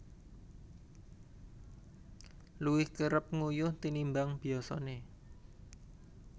Luwih kerep nguyuh tinimbang biyasané